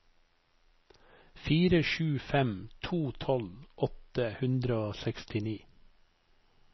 fire sju fem to tolv åtte hundre og sekstini